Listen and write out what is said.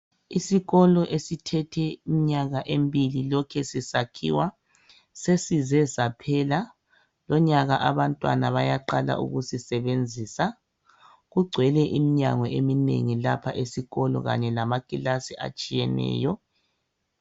Isikolo esithethe iminyaka emibili lokhe sisakhiwa sesize saphela .Lonyaka abantwana bayaqala ukusisebenzisa .Kugcwele imnyango eminengi lapha esikolo kanye lamakilasi atshiyeneyo.